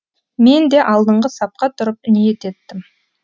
мен де алдыңғы сапқа тұрып ниет еттім